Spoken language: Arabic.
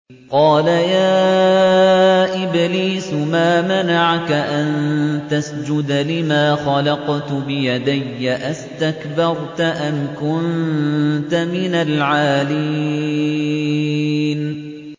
قَالَ يَا إِبْلِيسُ مَا مَنَعَكَ أَن تَسْجُدَ لِمَا خَلَقْتُ بِيَدَيَّ ۖ أَسْتَكْبَرْتَ أَمْ كُنتَ مِنَ الْعَالِينَ